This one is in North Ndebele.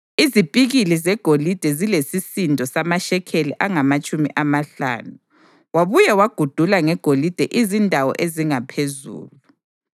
Izipikili zegolide zilesisindo samashekeli angamatshumi amahlanu. Wabuye wagudula ngegolide izindawo ezingaphezulu.